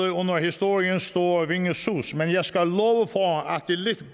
i historiens store vingesus men jeg skal at det lidt